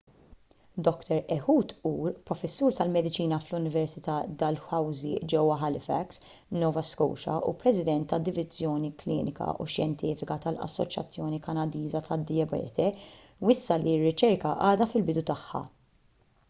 dr ehud ur professur tal-mediċina fl-università dalhousie ġewwa halifax nova scotia u president tad-diviżjoni klinika u xjentifika tal-assoċjazzjoni kanadiża tad-dijabete wissa li r-riċerka għadha fil-bidu tagħha